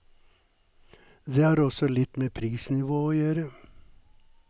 Det har også litt med prisnivået å gjøre.